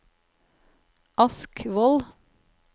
Askvoll